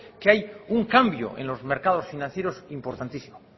que hay un cambio en los mercados financieros importantísimo